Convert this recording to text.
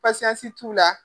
t'u la.